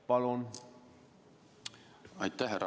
Palun!